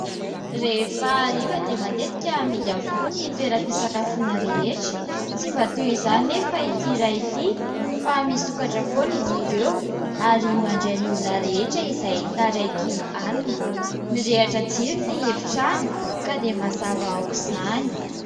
Rehefa hariva dia matetika mihidy avokoa ny toeram-pisakafoana rehetra. Tsy mba toy izany anefa ity iray ity fa misokatra foana izy ireo ary mandray ny olona rehetra izay taraiky alina. Mirehitra jiro ny efitrano ka dia mazava aoka izany.